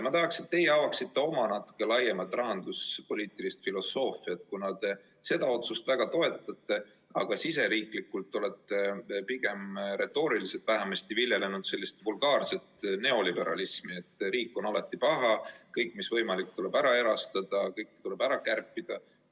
Ma tahaksin, et te avaksite natuke laiemalt oma rahanduspoliitilist filosoofiat, kuna te seda otsust väga toetate, aga siseriiklikult olete pigem retooriliselt vähemasti viljelenud sellist vulgaarset neoliberalismi, et riik on alati paha, kõik, mis võimalik, tuleb ära erastada, kõik tuleb ära kärpida.